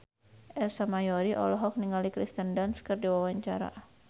Ersa Mayori olohok ningali Kirsten Dunst keur diwawancara